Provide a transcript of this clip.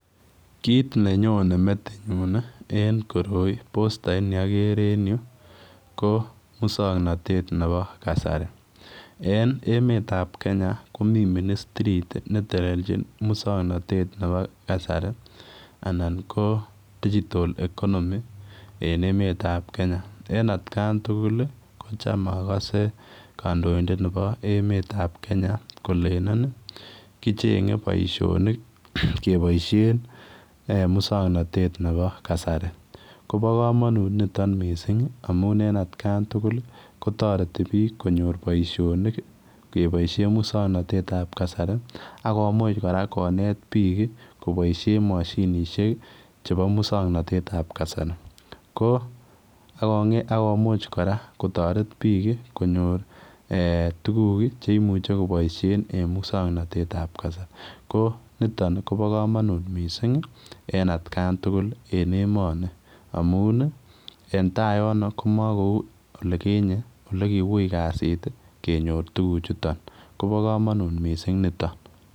Kiit nenyone metinyun en koroi ko postait neagere en yu musongnotet nepo kasari eng emet ap Kenya komi ministrit netelelchin musongnotet nepo kasari anan ko digital economy en emet ap Kenya en atkan tugul ko chamagase kandoindet nebo emet ap Kenya kolenen kichenye boisionik keboishen musongnotet nebo kasari. Kobo komonut niton mising amun en atkan tugul kotoreti piik konyor poisionik kepoishen musongnotet ap kasari akomuche kora konet piik koboishe mashinishek chebo musongnotet ap kasari ko akomuche kora kotoreti piik konyor tuguk cheimuche koboisie eng musongnotet ap kasari ko nitok Kobo komonut mising en atkan tugul en emoni amun entay yono makou lekinye lekiui kasit kenyor tuguchuton Kobo komonut mising niton.